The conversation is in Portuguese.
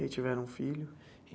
E tiveram um filho?